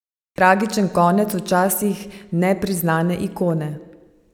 Tragičen konec včasih nepriznane ikone.